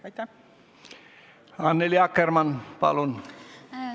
Annely Akkermann, palun!